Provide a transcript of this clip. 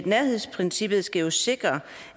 nærhedsprincippet skal jo netop sikre